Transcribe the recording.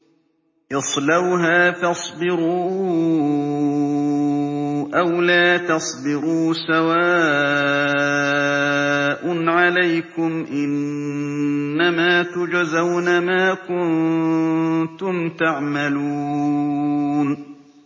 اصْلَوْهَا فَاصْبِرُوا أَوْ لَا تَصْبِرُوا سَوَاءٌ عَلَيْكُمْ ۖ إِنَّمَا تُجْزَوْنَ مَا كُنتُمْ تَعْمَلُونَ